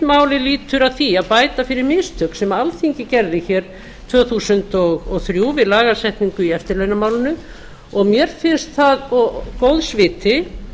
málið lýtur að því að bæta fyrir mistök sem alþingi gerði hér tvö þúsund og þrjú við lagasetningu í eftirlaunamálinu og mér finnst það góðs viti